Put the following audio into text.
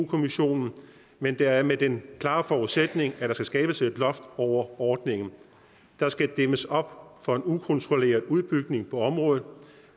kommissionen men det er med den klare forudsætning at der skal skabes et loft over ordningen der skal dæmmes op for en ukontrolleret udbygning på området